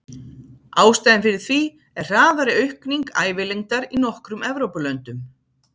Ástæðan fyrir því er hraðari aukning ævilengdar í nokkrum Evrópulöndum.